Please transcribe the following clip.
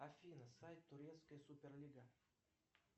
афина сайт турецкая суперлига